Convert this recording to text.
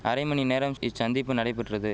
அரை மணி நேரம் இச்சந்திப்பு நடைபெற்றது